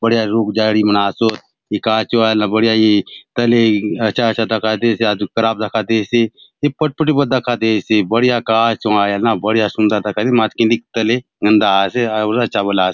बढ़िया रुख झाड़ी मन आसोत ए कहाँ चो आय आले ना बढ़िया ए तले अच्छा अच्छा दखा दयेसे अ खराब दखा दयेसे ए फटफटी बले दखा दयेसे बढ़िया कहा चो आय आले ना बढ़िया सुंदर दखा मांतर खिंडिक तले गंदा आसे आऊरी अच्छा बले आसे ।